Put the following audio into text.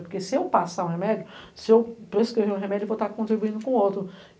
Porque se eu passar um remédio, se eu prescrever um remédio, eu vou estar contribuindo com o outro.